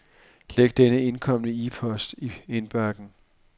Læg den indkomne e-post i indbakken.